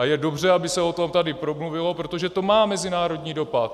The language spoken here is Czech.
A je dobře, aby se o tom tady promluvilo, protože to má mezinárodní dopad.